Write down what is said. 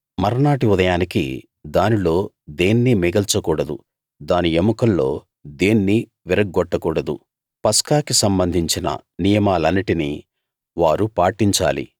మర్నాటి ఉదయానికి దానిలో దేన్నీ మిగల్చకూడదు దాని ఎముకల్లో దేన్నీ విరగ్గొట్టకూడదు పస్కాకి సంబంధించిన నియమాలన్నిటినీ వారు పాటించాలి